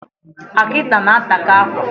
Akita na-ataka akwa